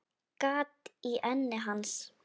Gat í enni hans.